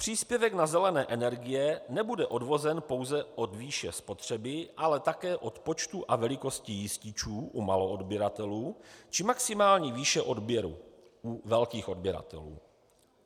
Příspěvek na zelené energie nebude odvozen pouze od výše spotřeby, ale také od počtu a velikosti jističů u maloodběratelů či maximální výše odběru u velkých odběratelů.